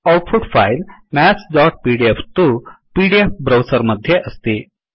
output file mathsपीडीएफ तु PDF browser मध्ये अस्ति